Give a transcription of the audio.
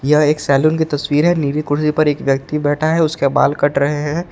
यह एक सैलून की तस्वीर है नीली कुर्सी पर एक व्यक्ति बैठा है उसका बाल कट रहे हैं।